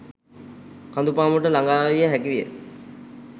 කඳු පාමුලට ළඟාවිය හැකි විය